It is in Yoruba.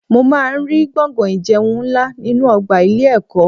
Mo máa ń rí gbọ̀ngán ìjẹun nlá ninu ọgbà ilé ẹ̀kọ́.